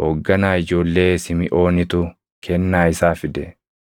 hoogganaa ijoollee Simiʼoonitu kennaa isaa fide.